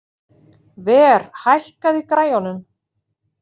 Ver, hækkaðu í græjunum.